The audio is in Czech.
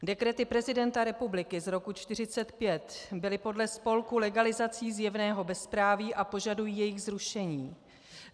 Dekrety prezidenta republiky z roku 1945 byly podle spolku legalizací zjevného bezpráví a požadují jejich zrušení.